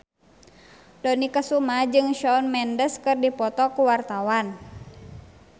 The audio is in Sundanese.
Dony Kesuma jeung Shawn Mendes keur dipoto ku wartawan